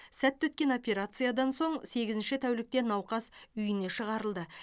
сәтті өткен операциядан соң сегізінші тәулікте науқас үйіне шығарылды